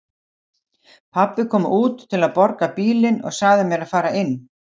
Pabbi kom út til að borga bílinn og sagði mér að fara inn.